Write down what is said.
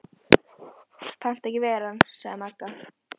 Pant ekki ver ann, sagði Magga.